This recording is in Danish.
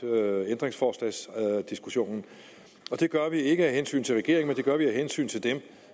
ændringsforslagsdiskussionen det gør vi ikke af hensyn til regeringen men det gør vi af hensyn til dem